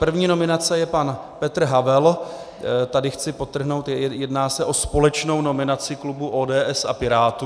První nominace je pan Petr Havel, tady chci podtrhnout, jedná se o společnou nominaci klubu ODS a Pirátů.